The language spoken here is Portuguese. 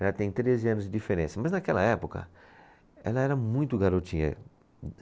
Ela tem treze anos de diferença, mas naquela época, ela era muito garotinha.